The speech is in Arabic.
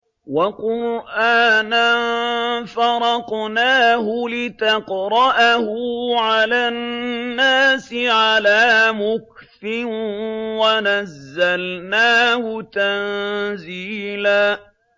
وَقُرْآنًا فَرَقْنَاهُ لِتَقْرَأَهُ عَلَى النَّاسِ عَلَىٰ مُكْثٍ وَنَزَّلْنَاهُ تَنزِيلًا